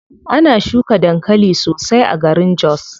Ana shuka dankali sosai a garin jos.